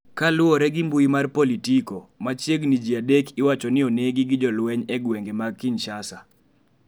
Kaluwore gi mbuyi mar Politico, machiegini ji adek iwacho ni onegi gi jolweny e gwenge mag Kinshasa.